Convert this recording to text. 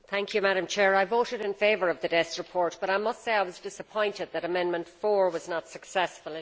Madam President, I voted in favour of the Dess report, but I must say I was disappointed that Amendment 4 was not successful.